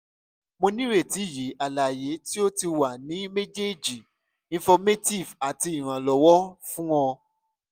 mo nireti yi alaye ti o ti wa ni mejeeji informative ati iranlọwọ fun o